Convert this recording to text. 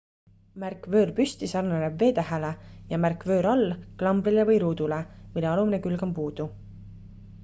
märk vöör püsti sarnaneb v-tähele ja märk vöör all klambrile või ruudule mille alumine külg on puudu